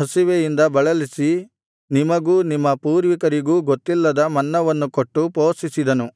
ಹಸಿವೆಯಿಂದ ಬಳಲಿಸಿ ನಿಮಗೂ ನಿಮ್ಮ ಪೂರ್ವಿಕರಿಗೂ ಗೊತ್ತಿಲ್ಲದ ಮನ್ನವನ್ನು ಕೊಟ್ಟು ಪೋಷಿಸಿದನು